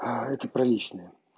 а эти приличные